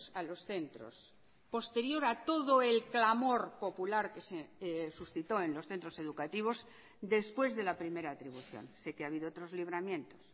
a los centros posterior a todo el clamor popular que se suscitó en los centros educativos después de la primera atribución sé que ha habido otros libramientos